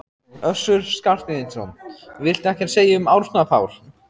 Össur Skarphéðinsson: Viltu ekkert segja um Árna Pál?